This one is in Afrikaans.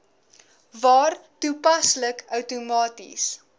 waar toepaslik outomaties